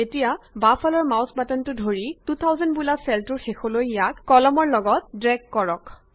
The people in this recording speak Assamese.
এতিয়া বাওঁফালৰ মাউছৰ বাটনটো ধৰি 2000 বোলা চেলটোৰ শেষলৈ ইয়াক কলামন ৰ লগত ড্ৰেগ কৰক